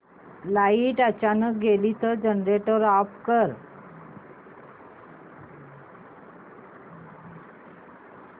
light अचानक गेली तर जनरेटर ऑफ कर